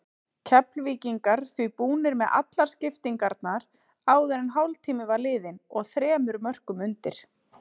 Keflvíkingar því búnir með allar skiptingarnar áður en hálftími var liðinn og þremur mörkum undir.